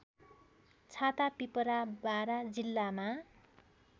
छातापिपरा बारा जिल्लामा